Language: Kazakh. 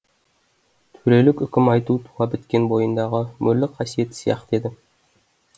төрелік үкім айту туа біткен бойындағы мөрлі қасиеті сияқты еді